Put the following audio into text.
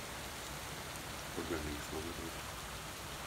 ольга александровна